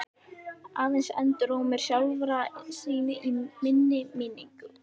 Aðeins endurómur sjálfra sín í minni minningu.